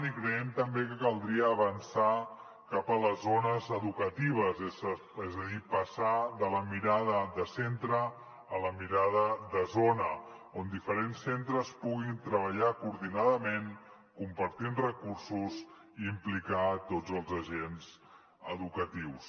i creiem també que caldria avançar cap a les zones educatives és a dir passar de la mirada de centre a la mirada de zona on diferents centres puguin treballar coordinadament compartint recursos i implicar tots els agents educatius